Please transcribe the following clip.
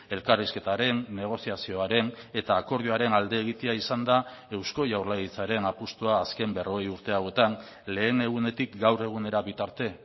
elkarrizketaren negoziazioaren eta akordioaren alde egitea izan da eusko jaurlaritzaren apustua azken berrogei urte hauetan lehen egunetik gaur egunera bitarte